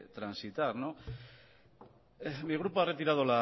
transitar no mi grupo ha retirado